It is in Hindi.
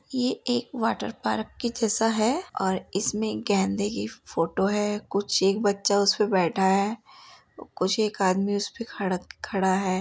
ये एक वॉटर पार्क के जैसा है और इसमें गेंदे की फोटो है। कुछ एक बच्चा उस पे बैठा है। कुछ एक आदमी उस पे खड़ खड़ा है।